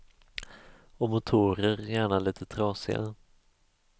Och motorer, gärna lite trasiga.